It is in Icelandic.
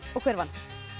og hver vann